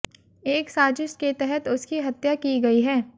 एक साजिश के तहत उसकी हत्या की गई है